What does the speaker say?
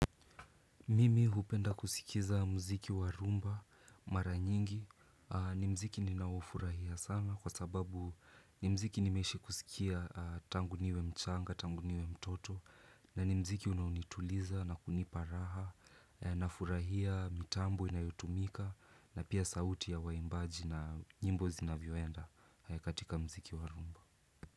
Mimi hupenda kusikiza muziki wa rumba, mara nyingi, ni muziki ninaofurahia sana kwa sababu ni muziki nimeishi kusikia tangu niwe mchanga, tangu niwe mtoto na ni muziki unaunituliza na kunipa raha, nafurahia mitambo inayotumika na pia sauti ya waimbaji na nyimbo zinavyoenda katika muziki wa rumba.